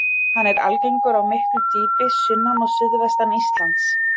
Hann er algengur á miklu dýpi sunnan og suðvestan Íslands.